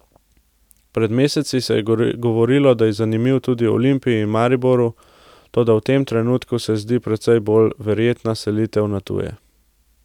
Pred meseci se je govorilo, da je zanimiv tudi Olimpiji in Mariboru, toda v tem trenutku se zdi precej bolj verjetna selitev na tuje.